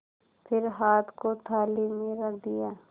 फिर हाथ को थाली में रख दिया